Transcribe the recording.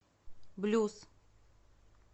блюз